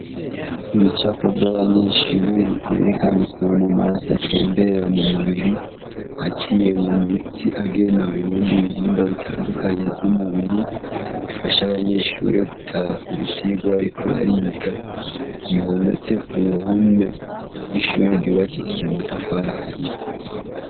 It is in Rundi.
Ibicapo vy'abanyenshur vyerekana ukuntu amaraso atembera mu mubiri aciye mu mitsi agenda mu bindi bihimba bitandukanye vy'umubiri bifasha abanyeshure gutahura ivyirwa, ariko bariga bihometse ku ruhome rw'ishure ryubakishije amatafarahiyo ww.